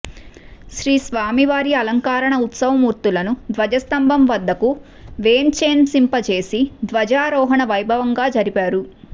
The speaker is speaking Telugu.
శ్రీస్వామివారి అలంకార ఉత్సవమూర్తులను ధ్వజ స్థంభం వద్దకు వేంచేంసింపజేసి ధ్వజారోహణ వైభవంగా జరిపారు